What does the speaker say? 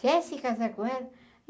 Quer se casar com ela?